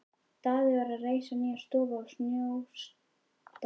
Daði var að reisa nýja stofu í Snóksdal.